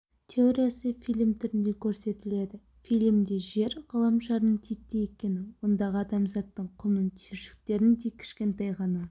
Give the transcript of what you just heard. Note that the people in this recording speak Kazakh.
теориясы фильм түрінде көрсетіледі фильмде жер ғаламшарының титтей екені ондағы адамзаттың құмның түйіршіктеріндей кішкентай ғана